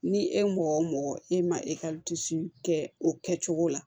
Ni e mɔgɔ o mɔgɔ e ma e ka kɛ o kɛ cogo la